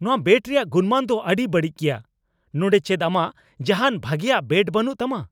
ᱱᱚᱶᱟ ᱵᱮᱴ ᱨᱮᱭᱟᱜ ᱜᱩᱱᱢᱟᱱ ᱫᱚ ᱟᱹᱰᱤ ᱵᱟᱹᱲᱤᱡ ᱜᱮᱭᱟ ᱾ ᱱᱚᱸᱰᱮ ᱪᱮᱫ ᱟᱢᱟᱜ ᱡᱟᱦᱟᱱ ᱵᱷᱟᱜᱮᱭᱟᱜ ᱵᱮᱴ ᱵᱟᱹᱱᱩᱜ ᱛᱟᱢᱟ ?